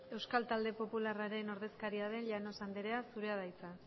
euskal talde popularraren ordezkaria den llanos andrea zurea da hitza